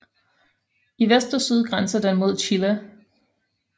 I vest og syd grænser den mod Chile